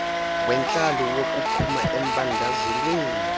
wentlalo wokuphuma embandezelweni